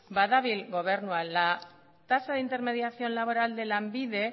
badabil gobernua la tasa de intermediación laboral de lanbide